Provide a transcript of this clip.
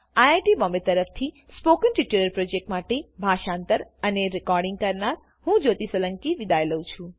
iit Bombay તરફથી spoken tutorial project માટે ભાષાંતર કરનાર હું જ્યોતી સોલંકી વિદાય લઉં છું